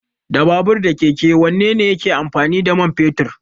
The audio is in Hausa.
Da babur da keke wanne ne yake amfani da mai fetur?